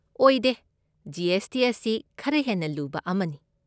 ꯑꯣꯏꯗꯦ, G. S. T. ꯑꯁꯤ ꯈꯔ ꯍꯦꯟꯅ ꯂꯨꯕ ꯑꯃꯅꯤ꯫